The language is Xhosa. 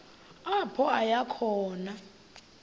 apho aya khona